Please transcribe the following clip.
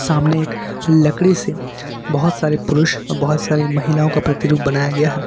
सामने एक लकड़ी से बहुत सारे पुरुष बहुत सारे महिलाओं का प्रतिरूप बनाया गया हैं।